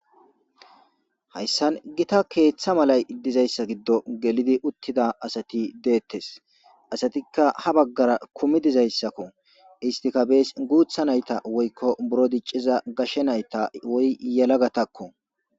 hayssan gita keeththa malay dizayssa giddo gelidi uttida asati deettes asatikka ha baggara kumi dizayssakko istika bees guutha nayta woykko buro dicciza gashe nayta woy yelagatakko